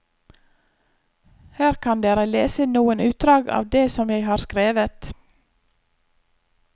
Her kan dere lese noen utdrag av det som jeg har skrevet.